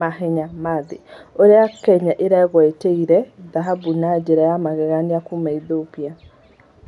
Mahenya ma thĩ : ũrĩa Kenya ĩrwgwatĩire thahabu na njĩra ya magegania kuma Ethiopia.